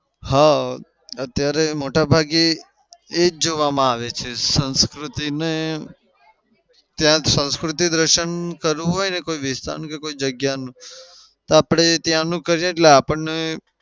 હા. અત્યારે મોટા ભાગે એ જ જોવામાં આવે છે. સંસ્કૃતિને ત્યાં જ સંસ્કૃતિ દર્શન કરવું હોય ને કોઈ વિસ્તાર કે જગ્યાનું તો આપડે ત્યાનું કઈએ એટલે આપણને